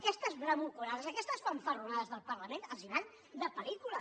aquestes bravuconades aquestes fanfarronades del parlament els van de pel·lícula